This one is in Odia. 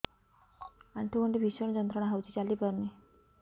ଆଣ୍ଠୁ ଗଣ୍ଠି ଭିଷଣ ଯନ୍ତ୍ରଣା ହଉଛି ଚାଲି ପାରୁନି